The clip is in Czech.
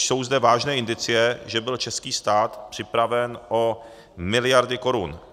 Jsou zde vážné indicie, že byl český stát připraven o miliardy korun.